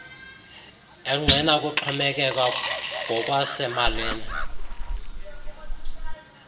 engqina ukuxhomekeka ngokwasemalini